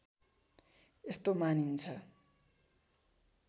यस्तो मानिन्छ